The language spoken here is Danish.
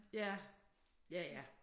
Ja. Ja ja